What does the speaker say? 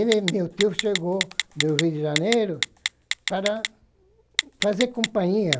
E meu tio chegou do Rio de Janeiro para fazer companhia.